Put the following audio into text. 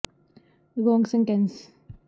ਜੋ ਕਿ ਬਾਅਦ ਤੁਹਾਨੂੰ ਇਸ ਦਾ ਜਵਾਬ ਸਾਰਣੀ ਵਿੱਚ ਦਰਜ ਹੈ ਨੂੰ ਪਸੰਦ